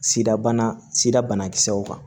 Sirabana sira bana kisɛw kan